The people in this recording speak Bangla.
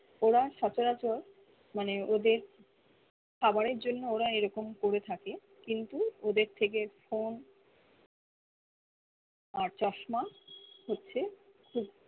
ওরা সচরাচর মানে ওদের খাবারে জন্য ওরা এই রকম করে থাকে কিন্তু ওদের থেকে phone আর চশমা হচ্ছে খুব